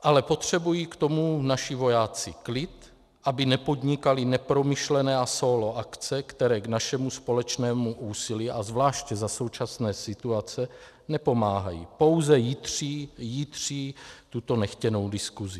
Ale potřebují k tomu naši vojáci klid, aby nepodnikali nepromyšlené a sólo akce, které k našemu společnému úsilí, a zvláště za současné situace, nepomáhají, pouze jitří tuto nechtěnou diskusi.